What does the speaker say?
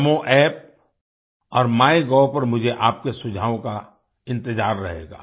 नामो अप्प और माइगोव पर मुझे आपके सुझावों का इंतज़ार रहेगा